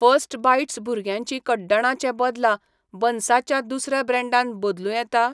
First Bites भुरग्यांची कड्डणां चे बदला बन्सा च्या दुसऱ्या ब्रँडान बदलूं येता?